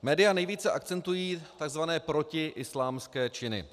Média nejvíce akcentují tzv. protiislámské činy.